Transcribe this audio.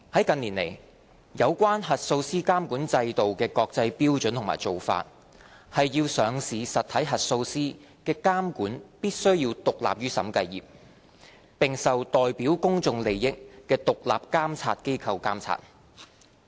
近年來，有關核數師監管制度的國際標準和做法，是上市實體核數師的監管必須獨立於審計業，並受代表公眾利益的獨立監察機構監察。